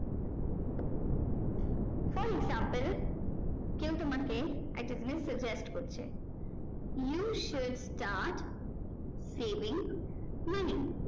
from example কেও তোমাকে একটা জিনিস suggest করছে you should start saving money